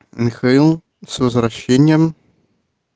михаил с возвращением